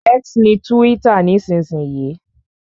X ni túwítà nísinsìnyí